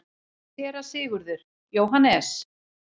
SÉRA SIGURÐUR: Jóhannes?